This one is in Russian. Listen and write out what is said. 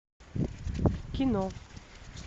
кино